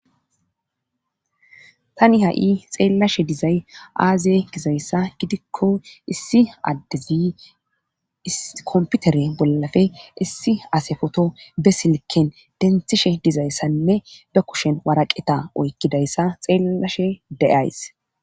tani ha7i xeellashe dizay aaze gizayssa gidikko issi addezi ikomputere bollafe issi ase foto be silken denthishe dizayssanne be kushen waraqeta oykkidayssa xeellashe de7ays